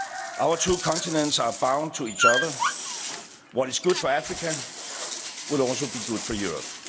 Africa. Our two continents are bound to each other what is good for Africa will also be good for